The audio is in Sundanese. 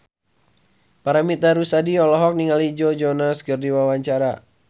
Paramitha Rusady olohok ningali Joe Jonas keur diwawancara